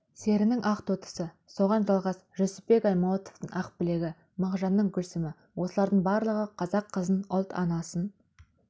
серінің ақтоқтысы соған жалғас жүсіпбек аймауытовтың ақбілегі мағжанның гүлсімі осылардың барлығы қазақ қызын ұлт анасын